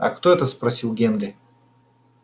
а кто это спросил генри